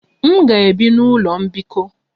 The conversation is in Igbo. M ga-ebi n'ụlọ mbikọ.